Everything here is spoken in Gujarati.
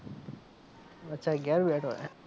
અચ્છા ઘેર બેઠો હે.